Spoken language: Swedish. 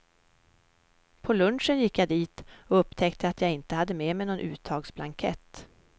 På lunchen gick jag dit och upptäckte att jag inte hade med mig någon uttagsblankett.